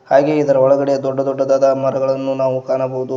ಹಾಗೆ ಇದರ ಒಳಗಡೆ ದೊಡ್ಡ ದೊಡ್ಡದಾದ ಮರಗಳನ್ನು ನಾವು ಕಾಣಬಹುದು.